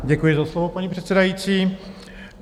Děkuji za slovo, paní předsedající.